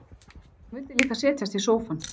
Hún vildi líka setjast í sófann.